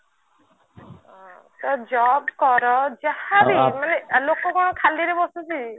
ହଁ ତ job କର ଯାହାବି ଲୋକ କଣ ଖାଲି ରେ ବସୁଛି